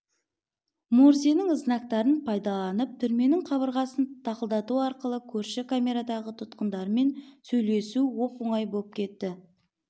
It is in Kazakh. морзенің знактарын пайдаланып түрменің қабырғасын тықылдату арқылы көрші камерадағы тұтқындармен сөйлесу оп-оңай боп кетті